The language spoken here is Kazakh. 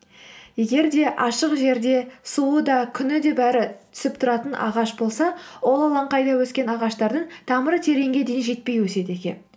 егер де ашық жерде суы да күні де бәрі түсіп тұратын ағаш болса ол алаңқайда өскен ағаштардың тамыры тереңге дейін жетпей өседі екен